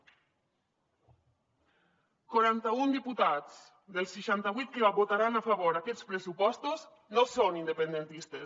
quaranta un diputats dels seixanta vuit que votaran a favor d’aquests pressupostos no són independentistes